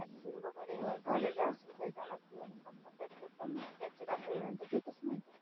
दिसत नाही.